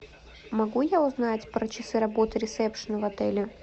могу я узнать про часы работы ресепшена в отеле